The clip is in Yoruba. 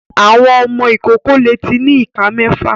Àwọn ọmọ ìkókó lẹ tí ní ìká méfà.